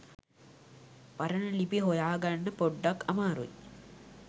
පරණ ලිපි හොයාගන්න පොඩ්ඩක් අමාරුයි.